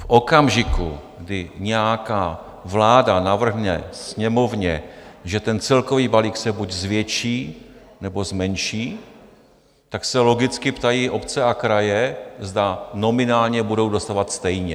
V okamžiku, kdy nějaká vláda navrhne Sněmovně, že ten celkový balík se buď zvětší, nebo zmenší, tak se logicky ptají obce a kraje, zda nominálně budou dostávat stejně.